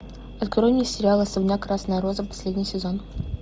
открой мне сериал особняк красная роза последний сезон